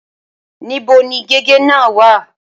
Níbo ni gègé náà wà?